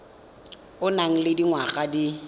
o nang le dingwaga di